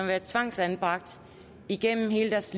været tvangsanbragt igennem hele deres